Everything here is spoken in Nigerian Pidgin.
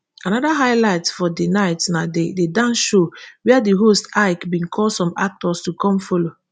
anoda highlight for di night na di di dance show wia di host ik bin call some actors to come follow